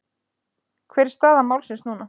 Hver er staða málsins núna?